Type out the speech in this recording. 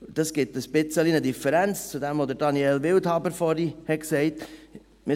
Dies ergibt eine kleine Differenz zu dem, was Daniel Wildhaber vorhin gesagt hat.